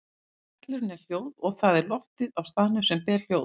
Hvellurinn er hljóð og það er loftið á staðnum sem ber hljóð.